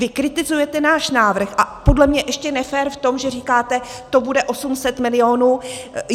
Vy kritizujete náš návrh, a podle mě ještě nefér v tom, že říkáte: to bude 800 milionů.